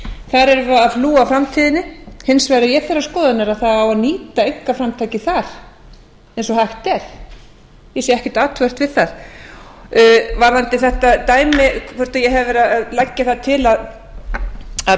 það á að hlúa að framtíðinni hins vegar er ég þeirrar skoðunar að það á að nýta einkaframtakið þar eins og hægt er ég sé ekkert athugavert við það varðandi þetta dæmi hvort ég hafi verið að leggja það til að